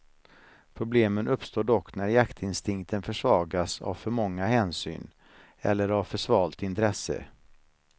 Problemen uppstår dock när jaktinstinkten försvagas av för många hänsyn, eller av för svalt intresse.